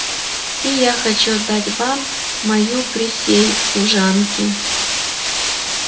и я хочу отдать вам мою присей в служанки